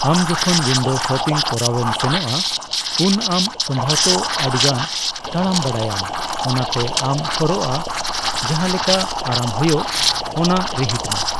ᱟᱢ ᱡᱚᱠᱷᱚᱱ ᱩᱭᱱᱰᱚ ᱥᱚᱯᱤᱝ ᱠᱚᱨᱟᱣᱮᱢ ᱥᱮᱱᱚᱜᱼᱟ ᱩᱱ ᱟᱢ ᱥᱚᱢᱵᱷᱚᱵᱚᱛᱚ ᱟᱹᱰᱤᱜᱟᱱ ᱛᱟᱲᱟᱢ ᱵᱟᱲᱟᱭ ᱟᱢ, ᱚᱱᱟᱛᱮ ᱟᱢ ᱦᱚᱨᱚᱜᱟ ᱡᱟᱦᱟᱸ ᱞᱮᱠᱟ ᱟᱨᱟᱢ ᱦᱳᱭᱳᱜ ᱚᱱᱟ ᱨᱤᱦᱤᱴ ᱢᱮ ᱾